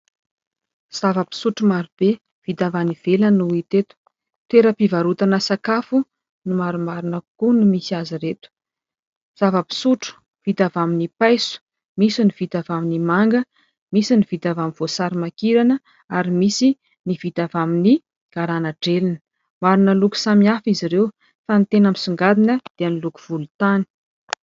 zava-pisotro marobe vita avy any ivelany no hita teto toeram-pivarotana sakafo no marimarina kokoa ny misy azy ireto zava-pisotro vita àvy amin'ny paiso misy ny vita avy amin'ny manga misy ny vita avy amin'ny voasarimankirana ary misy ny vita avy amin'ny garana drelina maro ny loko samihafa izy ireo fa ny tena misongadina dia ny loko volon-tany